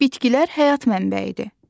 Bitkilər həyat mənbəyidir.